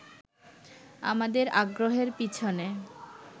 আমাদের আগ্রহের পিছনে